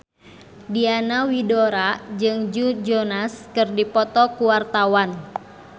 Diana Widoera jeung Joe Jonas keur dipoto ku wartawan